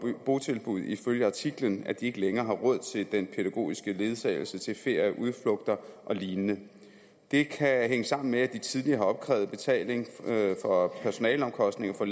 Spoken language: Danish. botilbud ifølge artiklen at de ikke længere har råd til den pædagogiske ledsagelse til ferier udflugter og lign det kan hænge sammen med at de tidligere har opkrævet betaling for personaleomkostninger